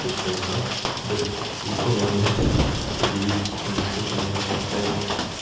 ты что не знал то есть легко можно определить кого-нибудь случайно человека поставить